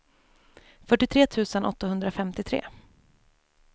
fyrtiotre tusen åttahundrafemtiotre